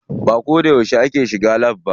Ba ko da yauce ake shiga lab ba.